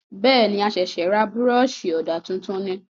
Bẹ́ẹ̀ni,a ṣẹ̀sẹ̀ ra Búrọ̀ṣì ọ̀dà tuntun ni